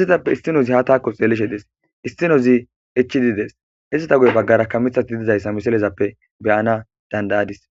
izatappe istinozi ha taako xeelishe dees istinozi ichididees izata guye baggarakka mithati didizayssa misilezappe beyana dandayadis